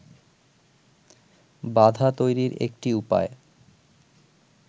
বাধা তৈরির একটি উপায়